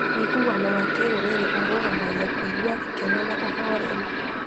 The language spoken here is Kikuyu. Ũiguano wa kĩrũrĩrĩ ũrũgamagia kũigua gĩkeno na ũhoreru,